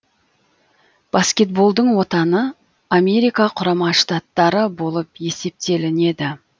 баскетболдың отаны америка құрама штаттары болып есептелінеді